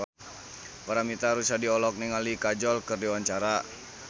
Paramitha Rusady olohok ningali Kajol keur diwawancara